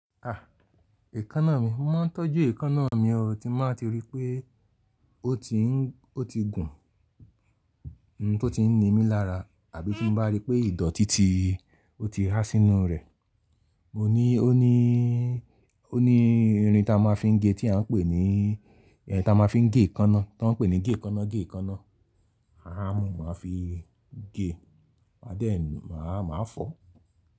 Èékánná mi, mo mọ n tọ́jú èékánná mi, o ti bá tí ri pé ó ti ń, ó ti gùn, n tó ti ń ni mí lára, àbí tí n bá rí pé ìdọ̀tí ti, ó ti há sínú rẹ̀. Ó ní irin tá a máa fi ń gé tí a ń pè ní, ta máa fi ń gé èékánná, tá ń pè ní gé èékánná, gé èékánná. Àhá maa mú, ma fi gé, à dẹ máa fọ̀.